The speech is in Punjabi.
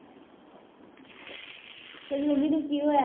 ਤੇਰੀ ਮੰਮੀ ਨੂੰ ਕੀ ਹੋਇਆ